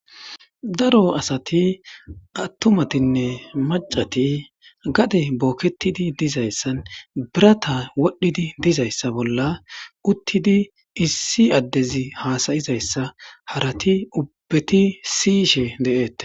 Daro asati atumatine machati gadey boketi dizaysan biratay wodhidi dizaysa bolla uttidi issi adezi hasayizaysa gizaysa harati ubati siyishe de'etes